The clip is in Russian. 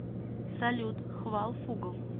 салют хвалфугл